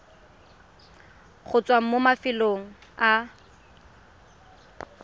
go tswa mo mafelong a